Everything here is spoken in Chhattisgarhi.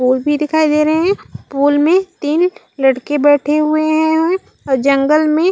पोल भीं दिखाई दे रहे है पोल में तीन लड़के बैठे हुए है और जंगल में--